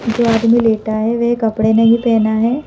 वे आदमी लेटा है वह कपड़े नहीं पहना है।